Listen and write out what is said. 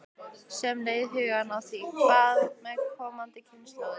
Sem leiðir hugann að því: Hvað með komandi kynslóðir?